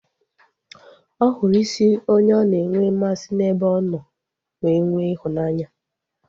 Ọ hụrụ isi onye ọ na enwe mmasị n'ebe ọ nọ wee nwee ịhụnanya